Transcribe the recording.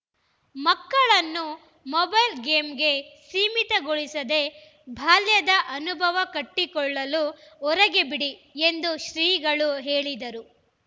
ಮಕ್ಕಳನ್ನು ಮೊಬೈಲ್‌ ಗೇಮ್ಸ್‌ಗೆ ಸೀಮಿತಗೊಳಿಸದೇ ಬಾಲ್ಯದ ಅನುಭವ ಕಟ್ಟಿಕೊಳ್ಳಲು ಹೊರಗೆ ಬಿಡಿ ಎಂದು ಶ್ರೀಗಳು ಹೇಳಿದರು